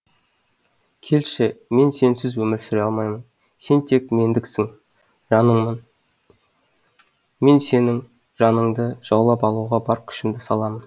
келші мен сенсіз өмір сүре алмаймын сен тек мендіксің жаныңмен мен сенің жаныңды жаулап алуға бар күшімді саламын